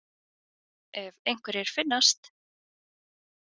Ef einhverjir finnast.